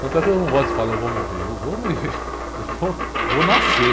Tanto é que eu não gosto de falar, eu vou morrer, eu vou me, eu vou, eu vou nascer, eu vou nascer.